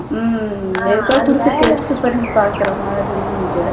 உம் ஏதாவது கொடுத்து test பண்ணி பார்க்குற மாதிரி இது